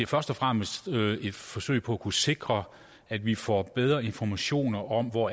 først og fremmest et forsøg på at kunne sikre at vi får bedre informationer om hvor